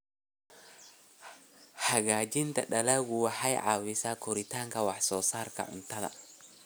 Hagaajinta dalaggu waxay caawisaa kordhinta wax soo saarka cuntada.